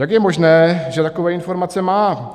Jak je možné, že takové informace má?